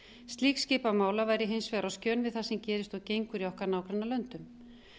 slík skipa mála væri hins vegar á skjön við það sem gerist og gengur í okkar nágrannalöndum